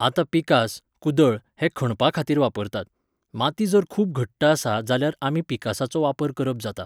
आतां पिकास, कुदळ हे खणपा खातीर वापरतात. माती जर खूब घट्ट आसा जाल्यार आमी पिकासाचो वापर करप जाता.